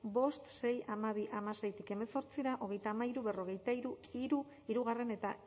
bost sei hamabi hamaseitik hemezortzira hogeita hamairu berrogeita hiru bigarrena